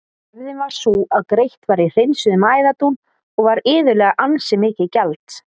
Hefðin var sú að greitt var í hreinsuðum æðadún og var iðulega ansi mikið gjald.